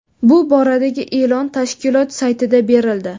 Bu boradagi e’lon tashkilot saytida berildi .